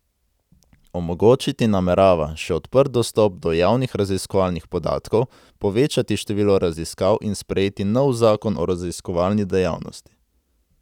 Omogočiti namerava še odprt dostop do javnih raziskovalnih podatkov, povečati število raziskav in sprejeti nov zakon o raziskovalni dejavnosti.